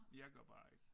Jeg gør bare ikke